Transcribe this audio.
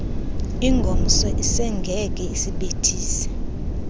ingomso isengeke siyibethise